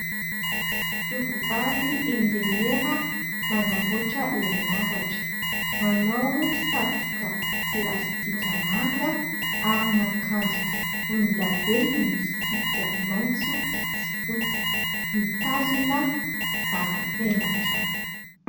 Tovovavy enjeniera manamboatra herinaratra, manao satroka plastika manga, aron'akanjo volondavenona misy tsipika maitso sy fotsy, mitazona bara paingotra.